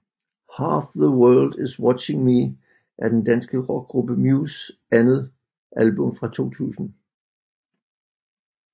Half The World is Watching Me er den danske rockgruppe Mews andet album fra 2000